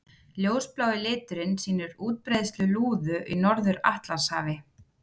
Ljósblái liturinn sýnir útbreiðslu lúðu í Norður-Atlantshafi.